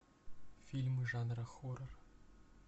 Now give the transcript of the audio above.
фильмы жанра хоррор